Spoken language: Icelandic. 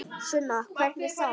Sunna: Hvernig þá?